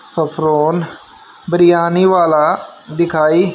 saffron biryani वाला दिखाई--